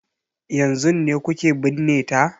Yanzun ne kuke binne ta?